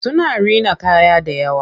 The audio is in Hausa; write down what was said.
Suna rina kaya dayawa.